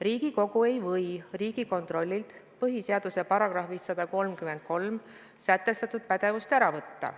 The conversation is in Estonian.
Riigikogu ei või Riigikontrollilt põhiseaduse §-s 133 sätestatud pädevust ära võtta.